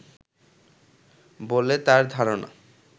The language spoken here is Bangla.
বলে তার ধারণা